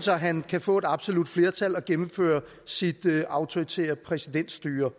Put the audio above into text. så han kan få et absolut flertal og indføre sit autoritære præsidentstyre